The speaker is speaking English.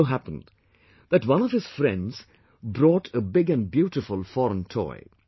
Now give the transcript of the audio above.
It so happened that one of his friends brought a big and beautiful foreign toy